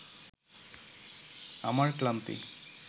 আমার ক্লান্তি